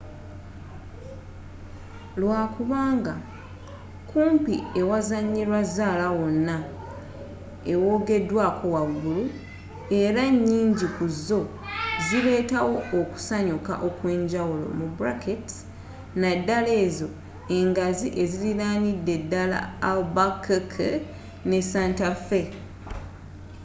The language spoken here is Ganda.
lwakubanga kumpi ewazanyirwa zaala wonna ewogedwako waggulu era nyingi ku zo zileetawo okusanyuka okwenjawulonaddala ezo engazi eziriranidde ddala albuquerque ne santa fe